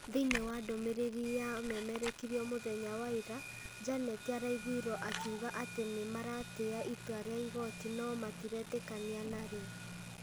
Thĩinĩ wa ndũmĩrĩri ya memerekirio mũthenya wa ira, Junet araigwirwo akiuga atĩ nĩ maratĩia itua rĩa igooti no matiretĩkania narĩo.